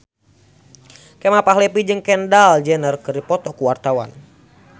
Kemal Palevi jeung Kendall Jenner keur dipoto ku wartawan